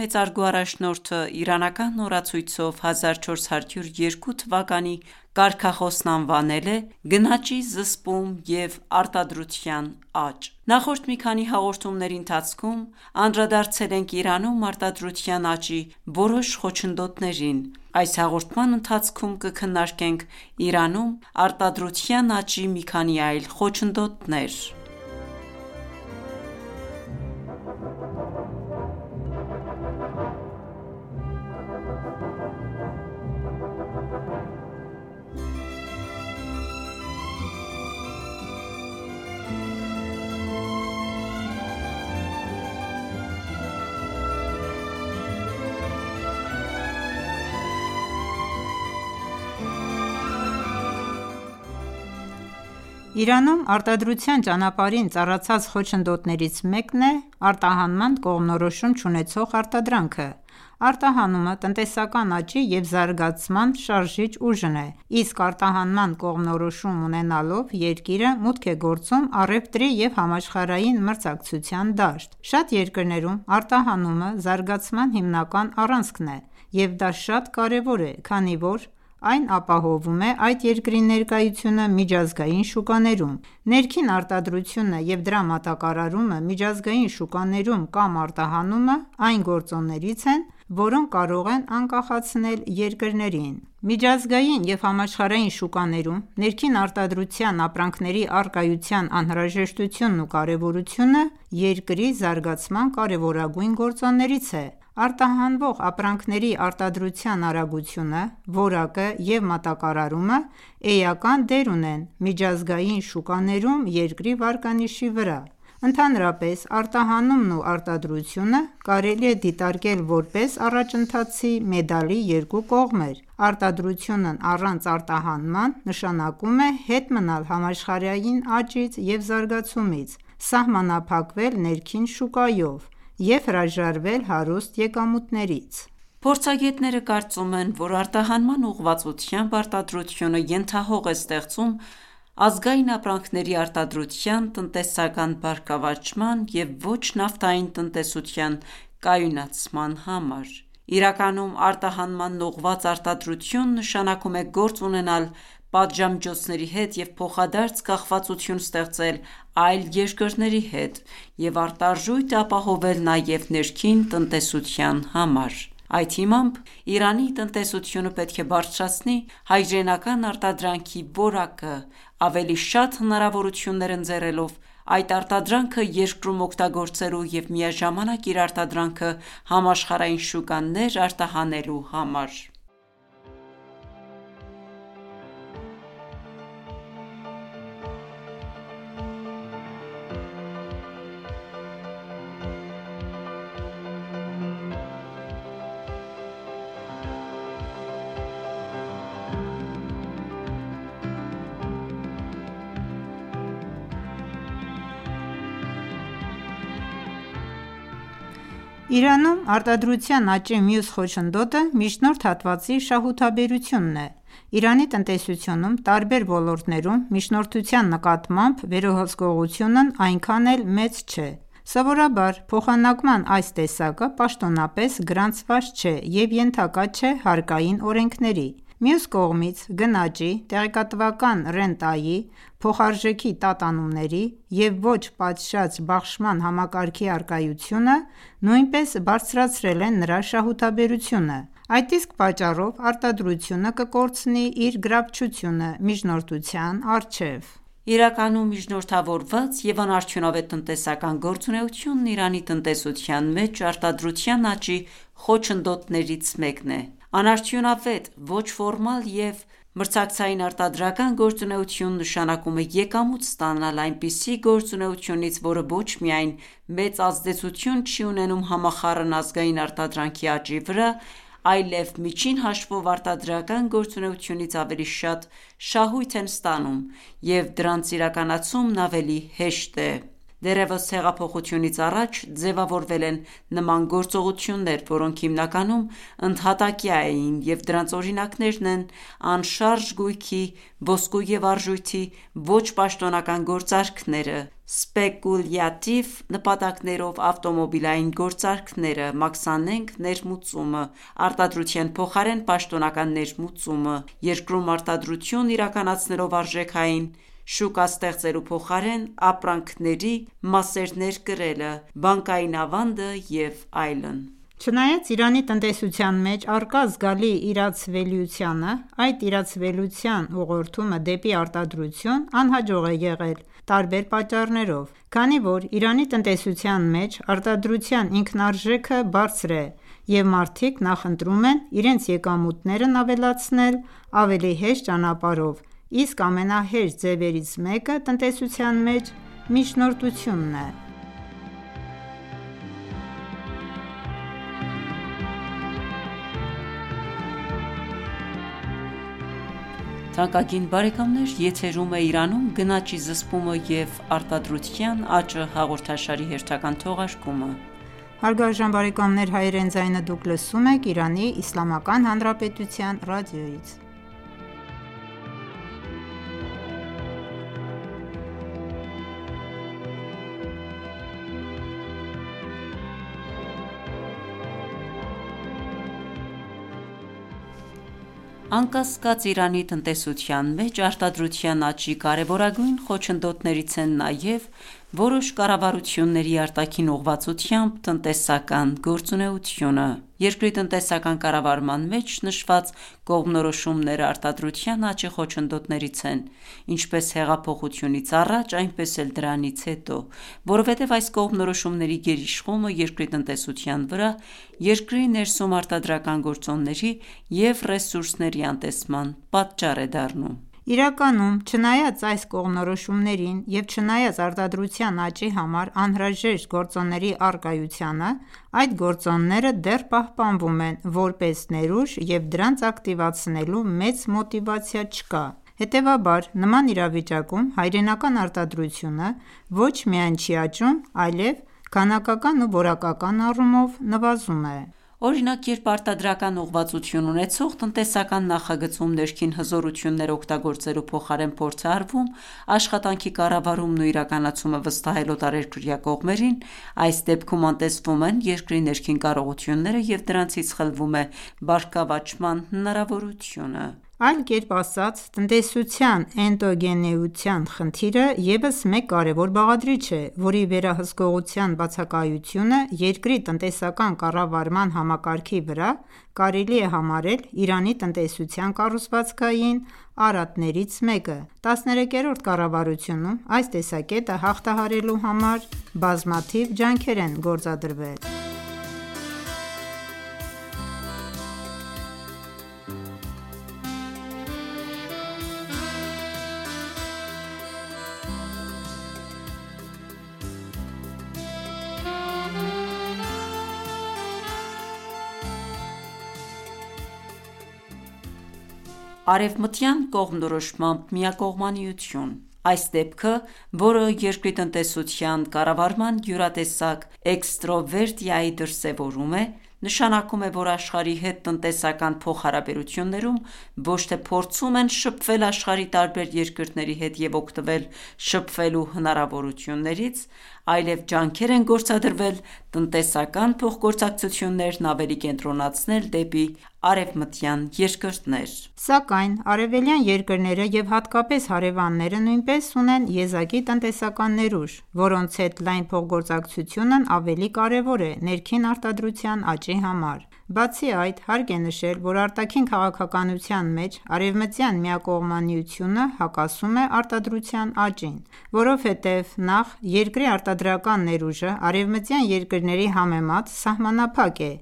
մեծարգո առաջնորդը իրանական օրացույցով 1402 թվականի կարգախոսն անվանել է «Գնաճի զսպում և արտադրության աճ»: Նախորդ մի քանի հաղորդումների ընթացքում անդրադարձել ենք Իրանում արտադրության աճի որոշ խոչընդոտներին։ Այս հաղորդման ընթացքում կքննարկենք Իրանում արտադրության աճի մի քանի այլ խոչընդոտներ։ Արտադրություն՝ առանց արտահանման կողմնորոշման Իրանում արտադրության ճանապարհին ծառացած խոչընդոտներից մեկն է՝ արտահանման կողմնորոշում չունեցող արտադրանքը։ Արտահանումը տնտեսական աճի և զարգացման շարժիչ ուժն է, իսկ արտահանման կողմնորոշում ունենալով երկիրը մուտք է գործում առևտրի և համաշխարհային մրցակցության դաշտ։ Շատ երկրներում արտահանումը զարգացման հիմնական առանցքն է, և դա շատ կարևոր է, քանի որ այն ապահովում է այդ երկրի ներկայությունը միջազգային շուկաներում։ Ներքին արտադրությունը և դրա մատակարարումը միջազգային շուկաներում կամ արտահանումը այն գործոններից են, որոնք կարող են անկախացնել երկրներին։ Միջազգային և համաշխարհային շուկաներում ներքին արտադրության ապրանքների առկայության անհրաժեշտությունն ու կարևորությունը երկրի զարգացման կարևորագույն գործոններից է։ Արտահանվող ապրանքների արտադրության արագությունը, որակը և մատակարարումը էական դեր ունեն միջազգային շուկաներում երկրի վարկանիշի վրա։ Ընդհանրապես, արտահանումն ու արտադրությունը կարելի է դիտարկել որպես առաջընթացի մեդալի երկու կողմեր, արտադրությունն առանց արտահանման՝ նշանակում է հետ մնալ համաշխարհային աճից և զարգացումից, սահմանափակվել ներքին շուկայով և հրաժարվել հարուստ եկամուտներից։ Փորձագետները կարծում են, որ արտահանման ուղղվածությամբ արտադրությունը ենթահող է ստեղծում ազգային ապրանքների արտադրության տնտեսական բարգավաճման և ոչ նավթային տնտեսության կայունացման համար։ Իրականում արտահանմանն ուղղված արտադրություն նշանակում է գործ ունենալ պատժամիջոցների հետ և փոխադարձ կախվածություն ստեղծել այլ երկրների հետ և արտարժույթ ապահովել նաև ներքին տնտեսության համար։ Այդ հիմամբ, Իրանի տնտեսությունը պետք է բարձրացնի հայրենական արտադրանքի որակը՝ ավելի շատ հնարավորություններ ընձեռելով այդ արտադրանքը երկրում օգտագործելու և միաժամանակ իր արտադրանքը համաշխարհային շուկաներ արտահանելու համար։ Իրանում արտադրության աճի մյուս խոչընդոտը միջնորդ հատվածի շահութաբերությունն է։ Իրանի տնտեսությունում տարբեր ոլորտներում միջնորդության նկատմամբ վերահսկողությունն այնքան էլ մեծ չէ։ Սովորաբար փոխանակման այս տեսակը պաշտոնապես գրանցված չէ և ենթակա չէ հարկային օրենքների: Մյուս կողմից, գնաճի, տեղեկատվական ռենտայի, փոխարժեքի տատանումների և ոչ պատշաճ բաշխման համակարգի առկայությունը նույնպես բարձրացրել է նրա շահութաբերությունը։ Այդ իսկ պատճառով արտադրությունը կկորցնի իր գրավչությունը միջնորդության առջև։ Իրականում միջնորդավորված և անարդյունավետ տնտեսական գործունեությունը Իրանի տնտեսության մեջ արտադրության աճի խոչընդոտներից մեկն է: Անարդյունավետ, ոչ ֆորմալ և մրցակցային արտադրական գործունեություն նշանակում է եկամուտ ստանալ այնպիսի գործունեությունից, որը ոչ միայն մեծ ազդեցություն չի ունենում համախառն ազգային արտադրանքի աճի վրա, այլև միջին հաշվով արտադրական գործունեությունից ավելի շատ շահույթ են ստանում, և դրանց իրականացումն ավելի հեշտ է։ Դեռևս հեղափոխությունից առաջ ձևավորվել են նման գործողություններ, որոնք հիմնականում ընդհատակյա էին, և դրանց օրինակներն են անշարժ գույքի, ոսկու և արժույթի ոչ պաշտոնական գործարքները, սպեկուլյատիվ նպատակներով ավտոմոբիլային գործարքները, մաքսանենգ ներմուծումը, արտադրության փոխարեն պաշտոնական ներմուծումը, երկրում արտադրություն իրականացնելով արժեքային շուկա ստեղծելու փոխարեն, ապրանքների մասեր ներկրելը, բանկային ավանդը և այլն։ Չնայած Իրանի տնտեսության մեջ առկա զգալի իրացվելիությանը, այդ իրացվելիության ուղղորդումը դեպի արտադրություն անհաջող է եղել տարբեր պատճառներով։ Քանի որ Իրանի տնտեսության մեջ արտադրության ինքնարժեքը բարձր է, և մարդիկ նախընտրում են իրենց եկամուտներն ավելացնել ավելի հեշտ ճանապարհներով, իսկ ամենահեշտ ձևերից մեկը տնտեսության մեջ միջնորդությունն է: Արտաքին ուղղվածությամբ տնտեսական գործունեություն Անկասկած, Իրանի տնտեսության մեջ արտադրության աճի կարեւորագույն խոչընդոտներից են նաև որոշ կառավարությունների արտաքին ուղղվածությամբ տնտեսական գործունեությունը։ Երկրի տնտեսական կառավարման մեջ նշված կողմնորոշումները արտադրության աճի խոչընդոտներից են ինչպես հեղափոխությունից առաջ, այնպես էլ դրանից հետո։ Որովհետև այս կողմնորոշումների գերիշխումը երկրի տնտեսության վրա երկրի ներսում արտադրական գործոնների և ռեսուրսների անտեսման պատճառ է դառնում։ Իրականում, չնայած այս կողմնորոշումներին, և չնայած արտադրության աճի համար անհրաժեշտ գործոնների առկայությանը, այդ գործոնները դեռ պահպանվում են որպես ներուժ և դրանց ակտիվացնելու մեծ մոտիվացիա չկա։ Հետեւաբար, նման իրավիճակում հայրենական արտադրությունը ոչ միայն չի աճում, այլեւ քանակական ու որակական առումով նվազում է։ Օրինակ, երբ արտադրական ուղղվածություն ունեցող տնտեսական նախագծում ներքին հզորությունները օգտագործելու փոխարեն փորձ է արվում աշխատանքի կառավարումն ու իրականացումը վստահել օտարերկրյա կողմերին, այս դեպքում անտեսվում են երկրի ներքին կարողությունները և դրանցից խլվում է բարգավաճման հնարավորությունը։ Այլ կերպ ասած, «տնտեսության էնդոգենության» խնդիրը եւս մեկ կարեւոր բաղադրիչ է, որի վերահսկողության բացակայությունը երկրի տնտեսական կառավարման համակարգի վրա, կարելի է համարել Իրանի տնտեսության կառուցվածքային արատներից մեկը։ 13-րդ կառավարությունում այս տեսակետը հաղթահարելու համար բազմաթիվ ջանքեր են գործադրվել։ Արևմտյան կողմնորոշմամբ միակողմանիություն Այս դեպքը, որը երկրի տնտեսության կառավարման յուրատեսակ էքստրովերտիայի դրսեւորում է, նշանակում է, որ աշխարհի հետ տնտեսական փոխհարաբերություններում, ոչ թե փորձում են շփվել աշխարհի տարբեր երկրների հետ և օգտվել շփվելու հնարավորություններից, այլև ջանքեր են գործադրվել տնտեսական փոխգործակցություններն ավելի կենտրոնացնել դեպի արևմտյան երկրներ։ Սակայն արևելյան երկրները և հատկապես հարևանները նույնպես ունեն եզակի տնտեսական ներուժ, որոնց հետ լայն փոխգործակցությունն ավելի կարևոր է ներքին արտադրության աճի համար։ Բացի այդ, հարկ է նշել, որ արտաքին քաղաքականության մեջ արևմտյան միակողմանիությունը հակասում է արտադրության աճին։ Որովհետև նախ՝ երկրի արտադրական ներուժը արևմտյան երկրների համեմատ սահմանափակ է,